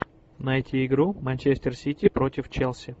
найти игру манчестер сити против челси